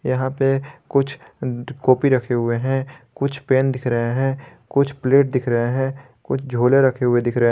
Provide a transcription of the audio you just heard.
यहां पे कुछ कॉपी रखे हुए है कुछ पेन दिख रहे है कुछ प्लेट दिख रहे है कुछ झोले रखे हुए दिख रहे--